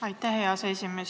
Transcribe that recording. Aitäh, hea aseesimees!